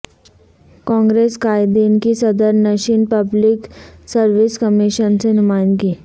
کانگریس قائدین کی صدرنشین پبلک سرویس کمیشن سے نمائندگی